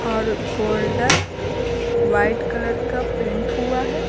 और golden white colour का paint हुआ है।